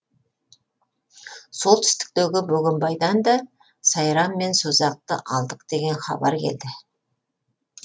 солтүстіктегі бөгенбайдан да сайрам мен созақты алдық деген хабар келді